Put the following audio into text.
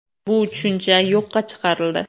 Bu tushuncha yo‘qqa chiqarildi.